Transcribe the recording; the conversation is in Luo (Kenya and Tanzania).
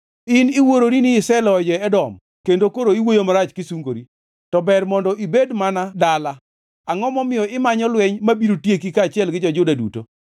In iwuorori ni iseloyo jo-Edom kendo koro iwuoyo marach kisungori. To ber mondo ibed mana e dala. Angʼo momiyo imanyo lweny mabiro tieki kaachiel gi jo-Juda duto?”